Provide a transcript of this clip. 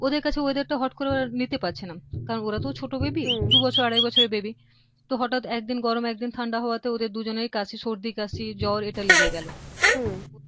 ওদের কাছে weather টা হুট্ করে আর নিতে পারছে না কারন ওরা তো ছোট baby উম দুবছর আড়াই বছরের baby তো হঠাৎ একদিন গরম একদিন ঠান্ডা হওয়াতে ওদের দুজনেরই কাশি সর্দি কাশি জ্বর এটা লেগে গেল হম